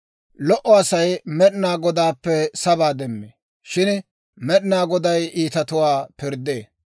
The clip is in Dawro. Lo"o Asay Med'inaa Godaappe sabaa demmee; shin Med'inaa Goday iitatuwaa pirddee.